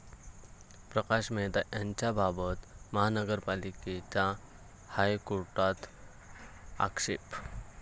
प्रकाश मेहता यांच्याबाबत महापालिकेचा हायकोर्टात आक्षेप